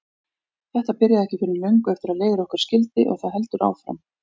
Þetta byrjaði ekki fyrr en löngu eftir að leiðir okkar skildi og það heldur áfram.